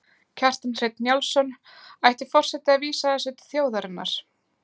Kjartan Hreinn Njálsson: Ætti forseti að vísa þessu til þjóðarinnar?